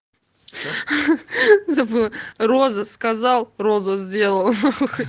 забыла роза сказал роза сделал